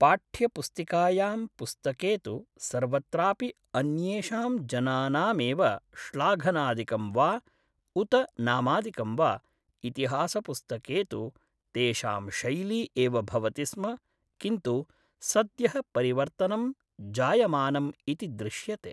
पाठ्यपुस्तिकायां पुस्तके तु सर्वत्रापि अन्येषां जनानामेव श्लाघनादिकं वा उत नामादिकं वा इतिहासपुस्तके तु तेषां शैली एव भवति स्म किन्तु सद्यः परिवर्तनं जायमानम् इति दृश्यते